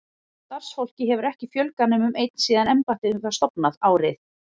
Starfsfólki hefur ekki fjölgað nema um einn síðan embættið var stofnað, árið